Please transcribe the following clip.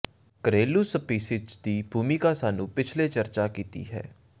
ਘਰੇਲੂ ਸਪੀਸੀਜ਼ ਦੀ ਭੂਮਿਕਾ ਸਾਨੂੰ ਪਿਛਲੇ ਚਰਚਾ ਕੀਤੀ ਹੈ